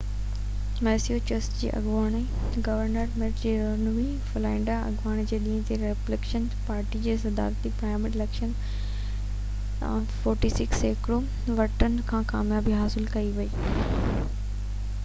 Massachusetts جي اڳوڻي governor Mitt Romney Florida اڱاري جي ڏينهن تي ريپبليڪن پارٽي جي صدارتي پرائمري اليڪشن 46 سيڪڙو ووٽن سان ڪاميابي حاصل ڪئي